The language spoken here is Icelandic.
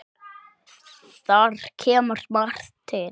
Þar kemur margt til.